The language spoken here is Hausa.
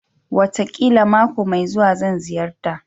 Wataƙila mako mai zuwa, zan ziyarta